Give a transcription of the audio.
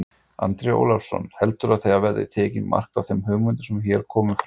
Andri Ólafsson: Heldurðu að það verði tekið mark á þeim hugmyndum sem hér komu fram?